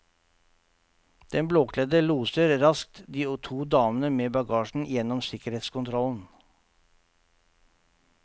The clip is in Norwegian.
Den blåkledde loser raskt de to damene med bagasjen igjennom sikkerhetskontrollen.